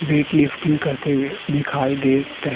wait lifting के करते हुए दिखाई दे रहे --